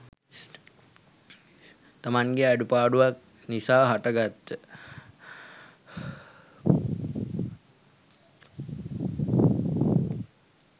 තමන්ගේ අඩුපාඩුවක් නිසා හටගත්ත